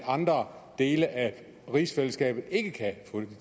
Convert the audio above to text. andre dele af rigsfællesskabet ikke kan få